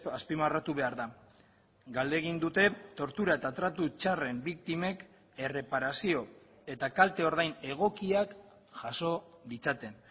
azpimarratu behar da galdegin dute tortura eta tratu txarren biktimek erreparazio eta kalte ordain egokiak jaso ditzaten